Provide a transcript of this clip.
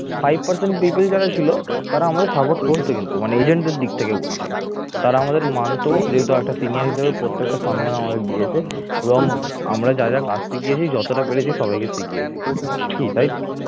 five percent people যারা ছিল তারা আমাদের support করতো কিন্তু মানে agent র দিক থেকে বলছি তারা আমাদের মানতেও যেহেতু একটা senior হিসেবে প্রত্যেক সম্মান আমাদের দিয়েছে এবং আমরা যা যা কাজ শিখিয়েছি যতটা পেরেছি সবাইকে শিখিয়েছি কি তাই তো